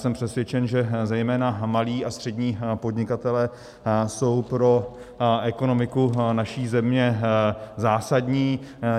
Jsem přesvědčen, že zejména malí a střední podnikatelé jsou pro ekonomiku naší země zásadní.